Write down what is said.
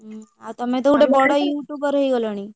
ଉଁ ଆଉ ତମେ ତ ଗୋଟେ ବଡ YouTuber ହେଇଗଲଣି।